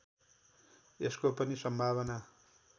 यसको पनि सम्भावना